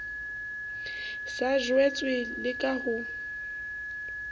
sa jwetswe le ka ho